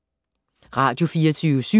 Radio24syv